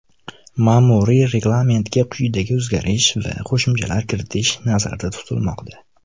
Ma’muriy reglamentga quyidagi o‘zgartirish va qo‘shimchalar kiritish nazarda tutilmoqda.